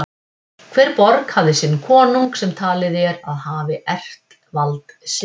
Hver borg hafði sinn konung sem talið er að hafi erft vald sitt.